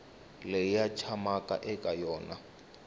leyi va tshamaka eka yona